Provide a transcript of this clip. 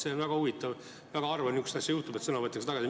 See on väga huvitav olukord, väga harva juhtub, et sõna võetakse tagasi.